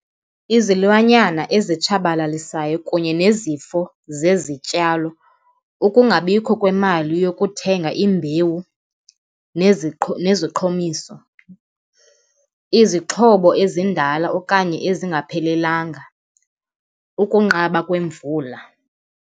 Izilwanyana ezitshabalalisayo kunye nezifo zezityalo, ukungabikho kwemali yokuthenga imbewu neziqhomiso, izixhobo ezindala okanye ezingaphelelanga, ukunqaba kwemvula.